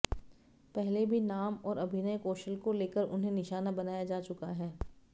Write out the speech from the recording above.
पहले भी नाम और अभिनय कौशल को लेकर उन्हें निशाना बनाया जा चुका है